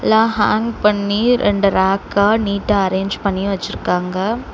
லா ஹாங் பண்ணி ரெண்டு ரேக்க நீட்டா அரேஞ்ச் பண்ணி வச்சிருக்காங்க.